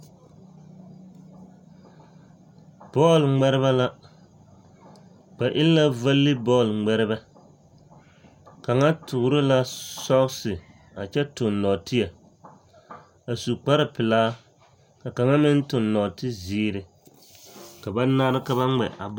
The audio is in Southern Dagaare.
Bɔɔl ŋmɛrebɛ la ba e la valibɔɔle ŋmɛrebɛ kaŋa toore la sogse a kyɛ toŋ nɔɔteɛ a su kparrepelaa ka kaŋ meŋ toŋ nɔɔte zeere ka ba nare ka ba ŋmɛ a bɔl.